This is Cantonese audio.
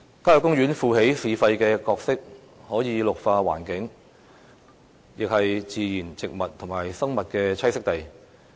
郊野公園負起"市肺"的角色，可以綠化環境，也是自然植物和生物的棲息地。